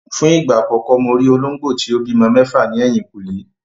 Fún ìgbà àkọ́kọ́ mo rí olóńgbò tí ó bímọ mẹ́fà ní ẹ̀yìnkùlé.